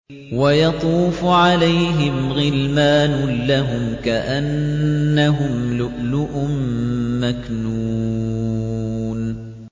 ۞ وَيَطُوفُ عَلَيْهِمْ غِلْمَانٌ لَّهُمْ كَأَنَّهُمْ لُؤْلُؤٌ مَّكْنُونٌ